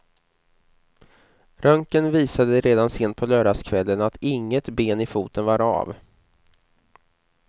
Röntgen visade redan sent på lördagskvällen att inget ben i foten var av.